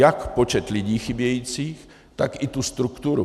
Jak počet lidí chybějících, tak i tu strukturu.